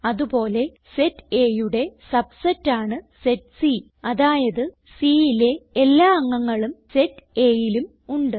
അത് പോലെ സെറ്റ് Aയുടെ സബ്സെറ്റ് ആണ് സെറ്റ് സി അതായത് Cയിലെ എല്ലാ അംഗങ്ങളും സെറ്റ് Aയിലും ഉണ്ട്